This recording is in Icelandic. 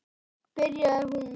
byrjaði hún.